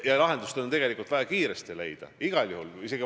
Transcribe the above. Ja lahendus on tegelikult igal juhul vaja kiiresti leida.